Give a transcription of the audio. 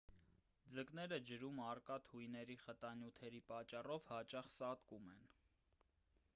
ձկները ջրում առկա թույների խտանյութերի պատճառով հաճախ սատկում են